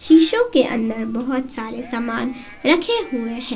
शीशों के अंदर बहुत सारे सामान रखे हुए हैं।